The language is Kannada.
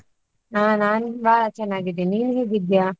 ಹಾ ನಾನು ಬಹಳ ಚೆನ್ನಾಗಿದ್ದೇನೆ, ನೀನು ಹೇಗಿದ್ದೀಯಾ?